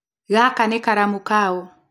Gaka nĩ karamu kaũ?